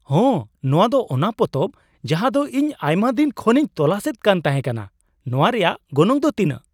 ᱦᱮᱸ! ᱱᱚᱶᱟ ᱫᱚ ᱚᱱᱟ ᱯᱚᱛᱚᱵ ᱡᱟᱦᱟ ᱫᱚ ᱤᱧ ᱟᱭᱢᱟ ᱫᱤᱱ ᱠᱷᱚᱱᱤᱧ ᱛᱚᱞᱟᱥ ᱮᱫ ᱠᱟᱱ ᱛᱟᱦᱮᱸ ᱠᱟᱱᱟ ᱾ ᱱᱚᱶᱟ ᱨᱮᱭᱟᱜ ᱜᱚᱱᱚᱝ ᱫᱚ ᱛᱤᱱᱟᱹᱜ ?